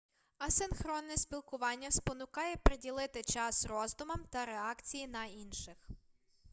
асинхронне спілкування спонукає приділити час роздумам та реакції на інших